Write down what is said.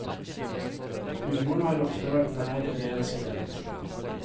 Humoren har ofte vært nær i det jeg har skrevet.